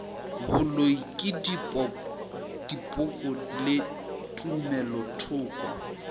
boloi le dipoko le tumelothoko